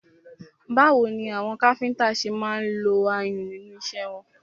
Báwo ni àwọn káfíńńtà ṣe máa ń lo ayùn nínú iṣẹ́ wọn?